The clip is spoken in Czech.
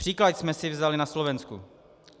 Příklad jsme si vzali na Slovensku.